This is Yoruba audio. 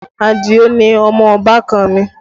Adio ni ọmọ ọbàkan mi